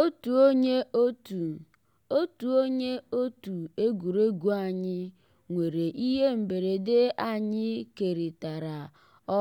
ótú ónyé ótú ótú ónyé ótú égwurégwu ànyị́ nwèrè íhé mbérèdé ànyị́ kérị́tárá